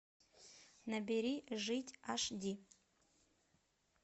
набери жить аш ди